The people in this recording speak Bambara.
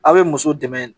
A' be muso dɛmɛ